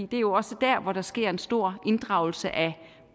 det er jo også der der sker en stor inddragelse af